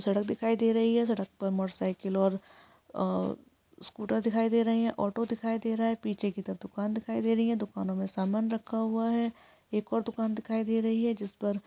सड़क दिखाई दे रही है सड़क पर मोटरसाइकिल और स्कूटर दिखाई दे रही है ऑटो दिखाई दे रहा है पीछे की तो दुकान दिखाई दे रही है दुकानों में सामान रखा हुआ है एक और दुकान दिखाई दे रही है जिसपर--